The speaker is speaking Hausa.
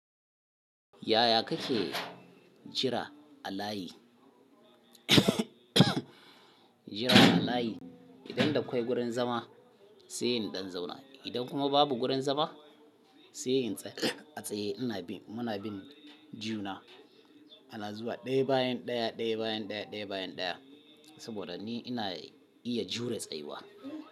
Yaya kake jira a layi? Jiran a layi, idan da akwai gurin zama sai in ɗan zauna. Idan kuma babu gurin zama sai in tsaya a tsaye. Ina bin, muna bin juna. Ana zuwa ɗaya bayan ɗaya, ɗaya bayan ɗaya, ɗaya bayan ɗaya. Saboda ni ina iya jure tsayuwa.